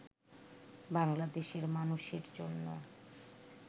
বাংলাদেশের মানুষের জন্য